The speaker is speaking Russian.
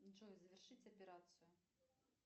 джой завершить операцию